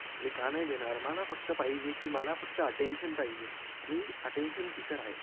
मी का नाही देणार मला फक्त पाहिजे कि मला फक्त अटेन्शन पाहिजे मी अटेन्शन स्वीकार आहे